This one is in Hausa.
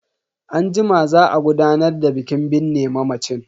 Anjima za a gudanar da bikin binne mamacin.